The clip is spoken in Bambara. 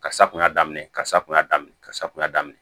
Kasa kun y'a daminɛ kasa kun y'a daminɛ kasa kun y'a daminɛ